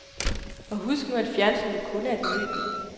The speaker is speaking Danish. Og husk nu, at fjernsynet kun er et møbel.